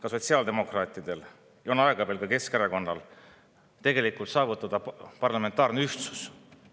Aga sotsiaaldemokraatidel on veel aega, aega on ka veel Keskerakonnal, et saavutada parlamentaarne ühtsus.